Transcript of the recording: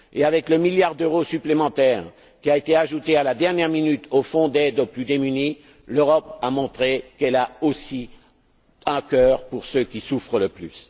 Avec le milliard d'euros supplémentaire, ajouté à la dernière minute au Fonds d'aide aux plus démunis, l'Europe montre qu'elle a aussi un cœur pour ceux qui souffrent le plus.